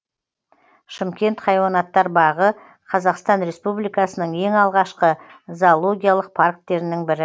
шымкент хайуанаттар бағы қазақстан республикасының ең алғашқы зоологиялық парктерінің бірі